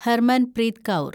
Harmanpreet Kaur